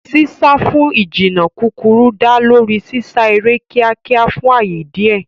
Sísá fún ìjìnnà kúkúrú dá lórí sísá eré kíákíá fún ààyè díẹ̀.